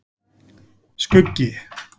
Skuggi